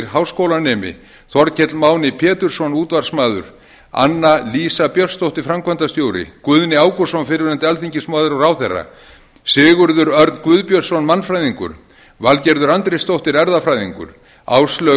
háskólanemi þorkell máni pétursson útvarpsmaður anna lísa björnsdóttir framkvæmdastjóri guðni ágústsson fyrrverandi alþingismaður og ráðherra sigurður örn guðbjörnsson mannfræðingur valgerður andrésdóttir erfðafræðingur áslaug